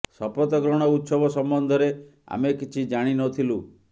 ଶପଥ ଗ୍ରହଣ ଉତ୍ସବ ସମ୍ବନ୍ଧରେ ଆମେ କିଛି ଜାଣି ନ ଥିଲୁ